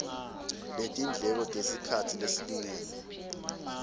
letindleko tesikhatsi lesilingene